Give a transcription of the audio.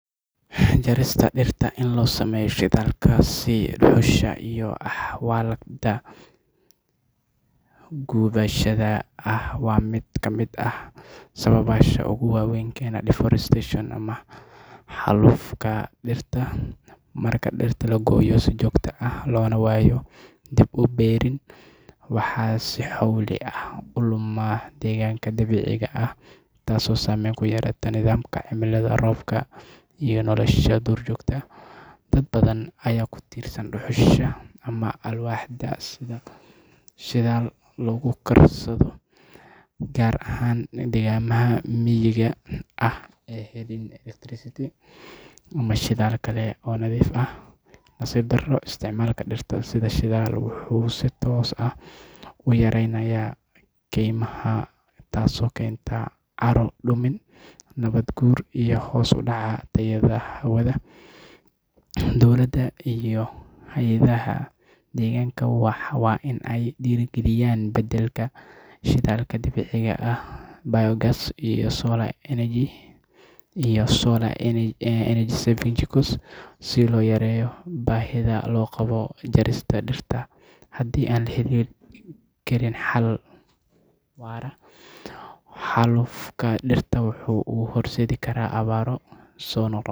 Jarista dhirta si loo sameeyo shidaalka sida dhuxusha iyo alwaaxda gubashada ah waa mid kamid ah sababaha ugu waa weyn ee keena deforestation ama xaalufka dhirta. Marka dhirta la gooyo si joogto ah loona waayo dib-u-beerin, waxaa si xowli ah u luma deegaanka dabiiciga ah, taas oo saameyn ku yeelata nidaamka cimilada, roobka, iyo nolosha duurjoogta. Dad badan ayaa ku tiirsan dhuxusha ama alwaaxda sida shidaal lagu karsado, gaar ahaan deegaanada miyiga ah ee aan helin electricity ama shidaal kale oo nadiif ah. Nasiib darro, isticmaalka dhirta sida shidaal wuxuu si toos ah u yaraynayaa kaymaha, taasoo keenta carro-dumin, nabaad-guur, iyo hoos u dhaca tayada hawada. Dowladda iyo hay'adaha deegaanka waa in ay dhiirrigeliyaan beddelka shidaalka dabiiciga ah sida biogas, solar energy, iyo energy-saving jikos si loo yareeyo baahida loo qabo jarista dhirta. Haddii aan la helin xal waara, xaalufka dhirta wuxuu u horseedi karaa abaaro soo noqnoqda.